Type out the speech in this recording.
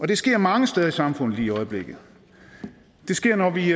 det sker mange steder i samfundet lige i øjeblikket det sker når vi